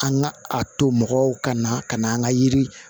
An ka a to mɔgɔw ka na ka na an ka yiri